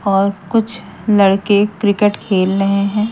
और कुछ लड़के क्रिकेट खेल रहे हैं।